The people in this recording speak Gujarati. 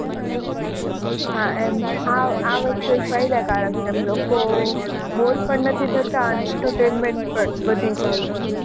હાં એમ આ આ વસ્તુ એક ફાયદાકારક છે. આમ લોકો bore પણ નથી થતાં ને entertainment પણ વધી જાય છે.